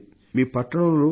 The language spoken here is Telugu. మీ పట్టణంలో వేయించండి